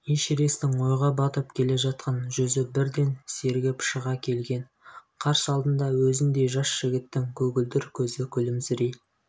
эшерестің ойға батып келе жатқан жүзі бірден сергіп шыға келген қарсы алдында өзіндей жас жігіттің көгілдір көзі күлімсірей